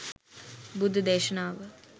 බුද්ධ දේශනාව